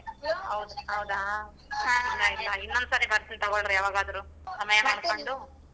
ಹೌದ್? ಹೌದಾ ಸರಿ ಇನ್ನೊಂದ್ ಸರಿ ಬರತೀನ್ ತೊಗೊಳರಿ ಯವಾಗಾದ್ರೂ ಸಮಯ ಮಾಡ್ಕೊಂಡು.